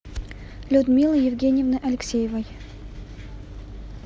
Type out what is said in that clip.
людмилы евгеньевны алексеевой